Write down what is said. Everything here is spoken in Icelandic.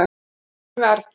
Með hugann við Arndísi.